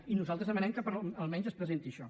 i nosaltres demanem que almenys es presenti això